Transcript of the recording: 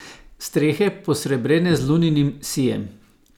Strehe, posrebrene z luninim sijem?